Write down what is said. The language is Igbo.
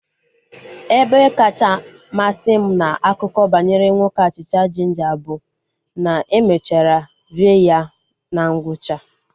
Ebe kacha masị m na akụkọ banyere nwoke achịcha jinja bụ na e mechara rie ya na ngwụcha